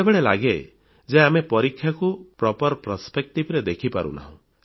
ବେଳେବେଳେ ଲାଗେ ଯେ ଆମେ ପରୀକ୍ଷାକୁ ଉଚିତ ଦୃଷ୍ଟିଭଙ୍ଗୀରେ ଦେଖିପାରୁ ନାହୁଁ